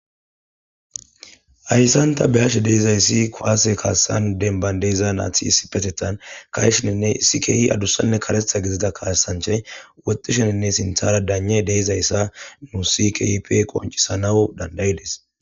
Ayssanta beyashe deizayssi kwaase kaassan denban deeza naati isipetetan kaeshininne isikehi adussanne karetha gezida kaasanchay wotisheninne sinthara daanje deezayssa nu sikipe qoncisanawu dandayides